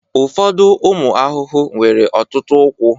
ụfọdụ ụmụ ahụhụ nwere ọtụtụ ụkwụ